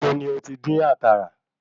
Níbo ni ó ti dín àkàrà?